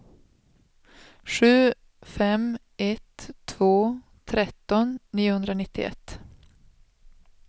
sju fem ett två tretton niohundranittioett